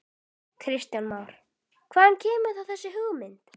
Kristján Már: Hvaðan kemur þá þessi hugmynd?